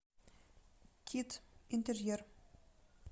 кит интерьер